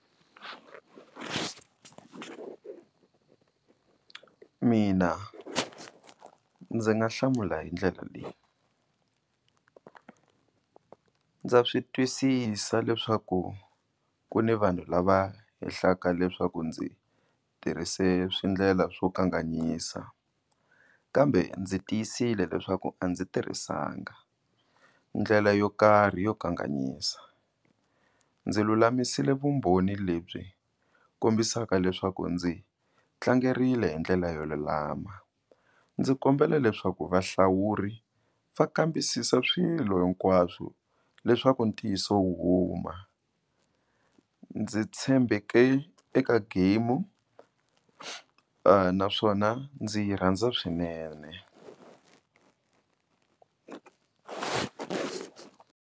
Mina ndzi nga hlamula hi ndlela leyi, ndza swi twisisa leswaku ku ni vanhu lava hehlaka leswaku ndzi tirhise swi ndlela swo kanganyisa kambe ndzi tiyisile leswaku a ndzi tirhisanga ndlela yo karhi yo kanganyisa, ndzi lulamisile vumbhoni lebyi kombisaka leswaku ndzi tlangerile hi ndlela yo lulama ndzi kombela leswaku vahlawuri va kambisisa swilo hinkwaswo leswaku ntiyiso wu huma. Ndzi tshembeke eka game naswona ndzi yi rhandza swinene.